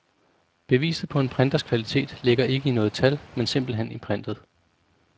Beviset på en printers kvalitet ligger ikke i noget tal, men simpelt hen i printet.